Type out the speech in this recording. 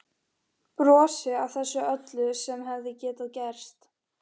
Brosi að þessu öllu sem hefði getað gerst.